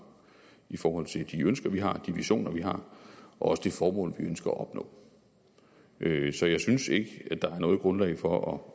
i forhold til de ønsker vi har de visioner vi har og også det formål vi ønsker at opnå så jeg synes ikke at der er noget grundlag for